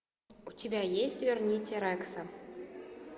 у тебя есть верните рекса